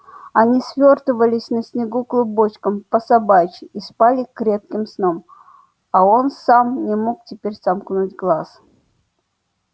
они свёртывались на снегу клубочком по собачьи и спали крепким сном а он сам не мог теперь сомкнуть глаз